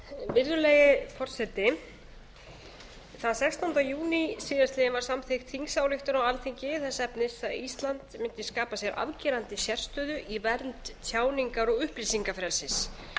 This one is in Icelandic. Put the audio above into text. virðulegi forseti þann sextánda júní síðastliðinn var samþykkt þingsályktun á alþingi þess efnis að ísland mundi skapa sér afgerandi sérstöðu í vernd tjáningar og upplýsingafrelsis